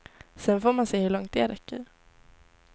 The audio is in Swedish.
Sen får man se hur långt det räcker.